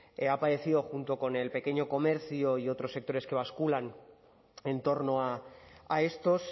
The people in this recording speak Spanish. ha aparecido junto con el pequeño comercio y otros sectores que basculan en torno a estos